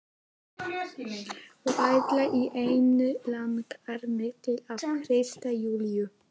Og allt í einu langar mig til að hrista Júlíu.